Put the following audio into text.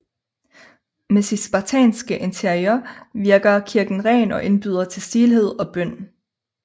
Med sit spartanske interiør virker kirken ren og indbyder til stilhed og bøn